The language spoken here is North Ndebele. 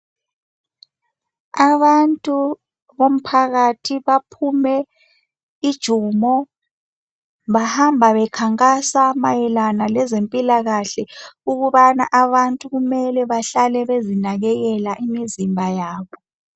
Abantu bomphakathi baphume ijumo bahamba bekhankasa mayelana lezempilakahle ukubana abantu kumele behlale bezinakekela imizimba yabo